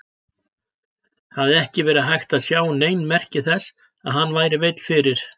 Það hafði ekki verið hægt að sjá nein merki þess að hann væri veill fyrir.